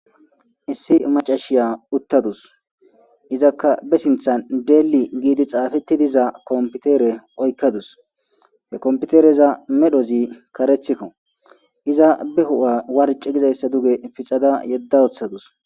Issi macashiya uuttadus izakka ba sinththan dell gidi xafettiza kompitere oykadus he kompiterezas medhozii kareththikko iza be huphpha warcci gizayssa duge pxada yeda woththadus.